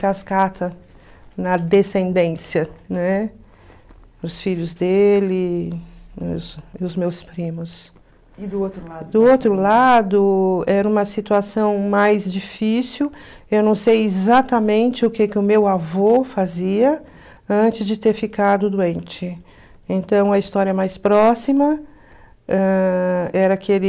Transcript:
cascata na descendência né os filhos dele e os meus primos e do outro lado do outro lado era uma situação mais difícil eu não sei exatamente o que que o meu avô fazia antes de ter ficado doente então a história mais próxima ãh era aquele